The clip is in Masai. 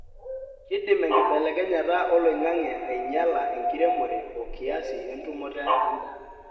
kindim enkibelekenyata oloingange aainyiala enkiremore okiasi entumoto endaa.